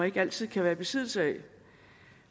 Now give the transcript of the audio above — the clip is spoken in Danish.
ikke altid kan være i besiddelse af